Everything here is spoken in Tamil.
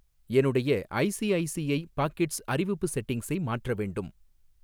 என்னுடைய ஐசிஐசிஐ பாக்கெட்ஸ் அறிவிப்பு செட்டிங்ஸை மாற்ற வேண்டும்.